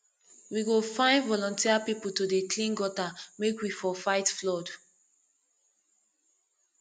we go find voluteer pipu to dey clean gutter make we for fight flood